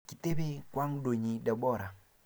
Kitebee kwangdoyii Deborah.